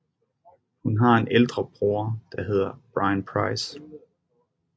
Hun har en ældre bror der hedder Bryan Price